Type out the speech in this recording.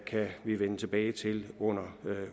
kan vi vende tilbage til under